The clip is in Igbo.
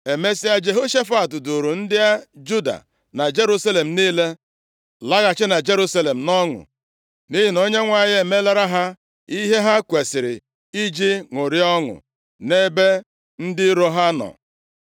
Emesịa, Jehoshafat duuru ndị Juda na Jerusalem niile laghachi na Jerusalem nʼọṅụ, nʼihi na Onyenwe anyị emeelara ha ihe ha kwesiri iji ṅụrịa ọṅụ nʼebe ndị iro ha nọ.